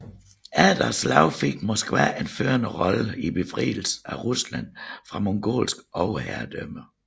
Efter slaget fik Moskva en førende rolle i befrielsen af Rusland fra mongolsk overherredømme